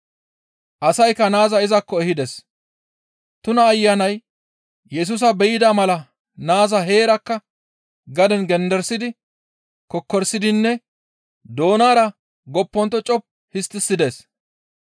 Asaykka naaza izakko ehides, tuna ayanay Yesusa be7ida mala naaza heerakka gaden genderisidi kokkorisidinne doonara goppontto coppu histtides.